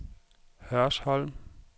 Hørsholm